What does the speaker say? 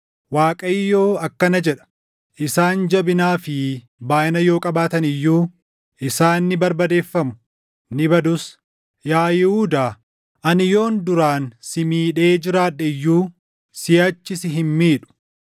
Waaqayyo akkana jedha: “Isaan jabinaa fi baayʼina yoo qabaatan iyyuu isaan ni barbadeeffamu; ni badus. Yaa Yihuudaa, ani yoon duraan si miidhee jiraadhe iyyuu, siʼachi si hin miidhu.